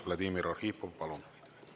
Vladimir Arhipov, palun!